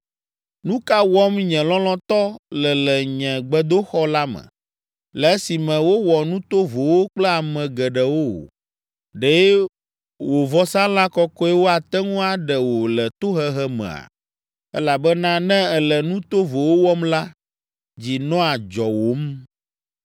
“Nu ka wɔm nye lɔlɔ̃tɔ le le nye gbedoxɔ la me, le esime wowɔ nu tovowo kple ame geɖewo? Ɖe wò vɔsalã kɔkɔewo ate ŋu aɖe wò le tohehe mea? Elabena ne èle nu tovowo wɔm la, dzi nɔa dzɔwòm.”